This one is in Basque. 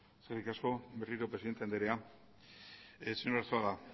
eskerrik asko berriro presidente anderea señor arzuaga